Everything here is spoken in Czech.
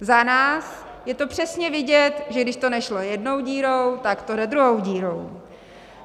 Za nás je to přesně vidět, že když to nešlo jednou dírou, tak to jde druhou dírou.